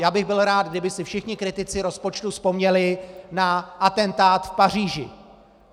Já bych byl rád, kdyby si všichni kritici rozpočtu vzpomněli na atentát v Paříži.